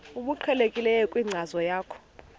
obuqhelekileyo kwinkcazo yakho